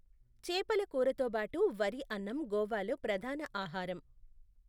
చేపల కూరతో బాటు వరి అన్నం గోవాలో ప్రధాన ఆహారం.